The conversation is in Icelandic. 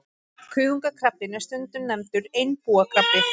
Kuðungakrabbinn er stundum nefndur einbúakrabbi.